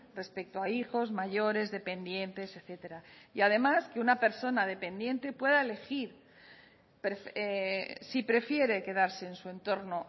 respecto a hijos mayores dependientes etcétera y además que una persona dependiente pueda elegir si prefiere quedarse en su entorno